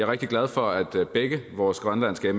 rigtig glad for at begge vores grønlandske